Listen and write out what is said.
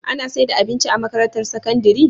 Ana saida abinci a makarantar sakandari?